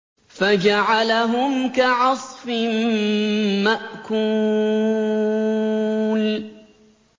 فَجَعَلَهُمْ كَعَصْفٍ مَّأْكُولٍ